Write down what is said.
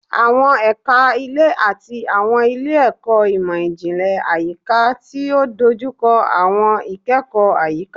Awọn ẹka ile ti awọn ile-ẹkọ imọ-jinlẹ Ayika ti o dojukọ awọn ikẹkọ ayika